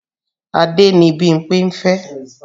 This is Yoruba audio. Adé ni Bímpé ń fẹ́